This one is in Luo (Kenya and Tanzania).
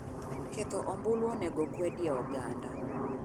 Ketho ombulu onego okwedi e oganda.